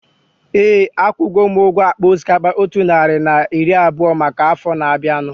Éè, akwugo m ụgwọ akpa osikapa otu narị na iri abụọ maka afọ na-abianu